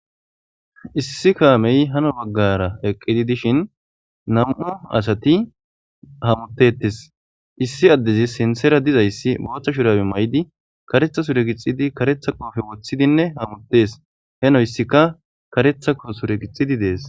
Issi kaamee hano baggaara eqqidi dishin nam7u asathi hamoththeeththes;issi addezi sinththera dizayssi booththa shuraabe mayidi kareththa sure gixxidi kareththa qoofe woththidinne hamoththees;he noyssika kareththa sure gixxidi de7ees.